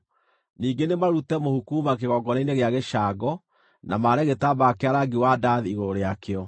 “Ningĩ nĩ marute mũhu kuuma kĩgongona-inĩ gĩa gĩcango, na maare gĩtambaya kĩa rangi wa ndathi igũrũ rĩakĩo.